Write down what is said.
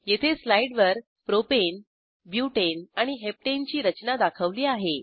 येथे स्लाईडवर propane butane आणि हेप्टने ची रचना दाखवली आहे